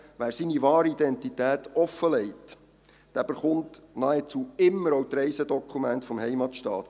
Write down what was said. Wer seine wahre Identität offenlegt, erhält nahezu immer die Reisedokumente des Heimatstaats.